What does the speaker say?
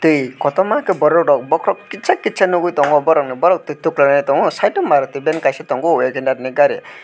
e kotorma ke borok rog bokorog kitsa kitsa nogoi tango borogni borokntui tokolai tango site o maruti ban kaisa tongo wagenar ni gari.